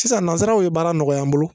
Sisan nanzaraw ye baara nɔgɔya an bolo